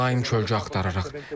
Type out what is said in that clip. Daim kölgə axtarıram.